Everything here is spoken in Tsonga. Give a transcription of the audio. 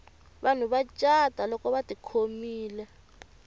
vanhu va cata lolko vati khomile